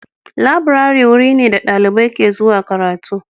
Laburare wuri ne da dalibai ke zuwa karatu.